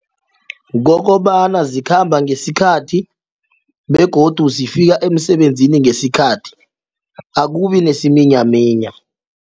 Kokobana zikhamba ngesikhathi begodu zifika emsebenzini ngesikhathi akubi nesiminyaminya.